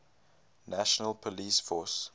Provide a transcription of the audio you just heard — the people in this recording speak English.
national police force